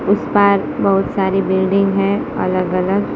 उस पार बहुत सारी बिल्डिंग है अलग अलग--